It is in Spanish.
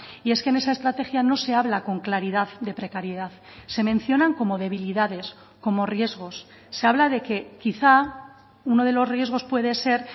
y es que en esa estrategia no se habla con claridad de precariedad se mencionan como debilidades como riesgos se habla de que quizá uno de los riesgos puede ser